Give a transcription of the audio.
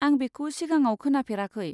आं बेखौ सिगाङाव खोनाफेराखै।